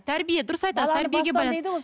тәрбие дұрыс айтасыз тәрбиеге байланысты